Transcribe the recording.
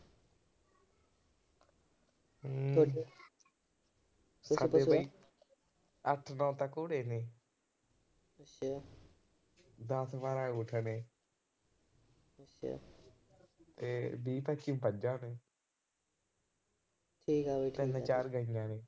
ਅੱਠ-ਨੌਂ ਤਾਂ ਘੋੜੇ ਨੇ। ਦਸ-ਬਾਰਾਂ ਊਠ ਨੇ। ਤੇ ਵੀਹ ਪੱਚੀ ਮੱਝਾਂ ਨੇ। ਤੇ ਚਾਰ ਗਾਈਆਂ ਨੇ।